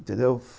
Entendeu?